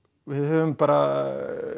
við höfum bara